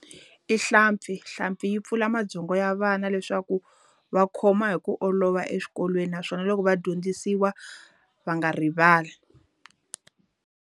I hlampfi. Hlampfi yi pfula mabyongo ya vana leswaku va khoma hi ku olova eswikolweni naswona loko va dyondzisiwa, va nga rivali.